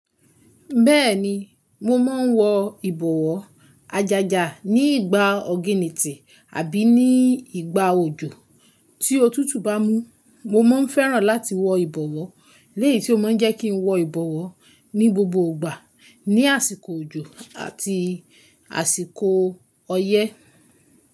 Bẹ́ẹ̀ni, mo máa ń wọ ìbọ̀wọ́ àjàjà ní ìgbà ọ̀ginìtì àbí ní ìgbà òjò tí otútù bá mú. Mo máa ń fẹ́ràn láti wọ ìbọ̀wọ́, léyìí tí ó máa ń jẹ́ kí n wọ ìbọ̀wọ́ ní gbogbo ìgbà, ní àsìkò òjò àti àsìkò ọyẹ́.